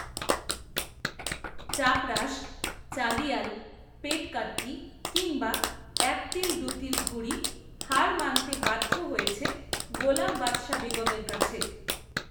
চাপরাশ, চাঁদিয়াল, পেটকাট্টি কিংবা, একতিলদুতিল ঘুড়ি, হার মানতে বাধ্য হয়েছে, গোলাম বাদশা বেগমএর কাছে